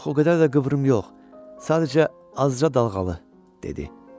Yox, o qədər də qıvrım yox, sadəcə azca dalğalı, dedi.